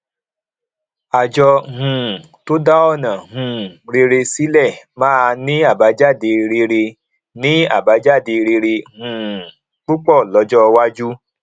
àjọ um tó dá ọnà um rere sílẹ máa ní àbájáde rere ní àbájáde rere um púpọ lọjọ iwájú